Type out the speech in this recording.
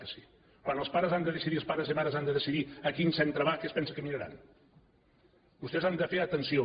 que sí quan els pares han de decidir els pares i mares han de decidir a quin centre va què es pensen que miraran vostès han de fer atenció